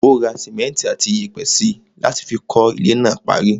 Ó ra simẹnti àti iyẹ̀pẹ̀ síi láti fi kọ́ ilé náà parí.